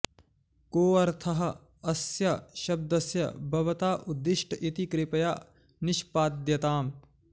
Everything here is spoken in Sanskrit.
को ऽर्थः अस्य शब्दस्य भवता उद्दिष्ट इति कृपया निष्पाद्यताम्